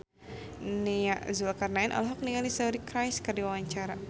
Nia Zulkarnaen olohok ningali Suri Cruise keur diwawancara